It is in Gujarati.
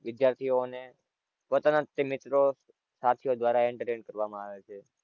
વિધ્યાર્થીઓ ને પોતાના જ મિત્રો સાથિયો દ્વારા entertain કરવામાં આવે છે.